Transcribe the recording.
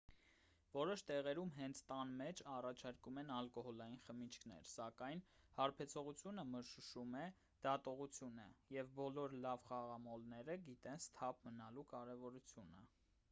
որոշ տեղերում հենց տան մեջ առաջարկում են ալկոհոլային խմիչքներ սակայն հարբեցողությունը մշուշում է դատողությունը և բոլոր լավ խաղամոլները գիտեն սթափ մնալու կարևորությունը